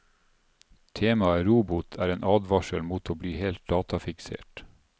Temaet robot er en advarsel mot å bli helt datafiksert.